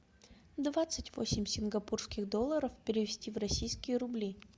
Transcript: двадцать восемь сингапурских долларов перевести в российские рубли